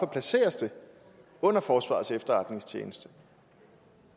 placeres under forsvarets efterretningstjeneste